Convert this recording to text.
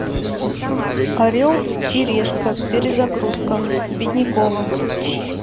орел и решка перезагрузка с бедняковым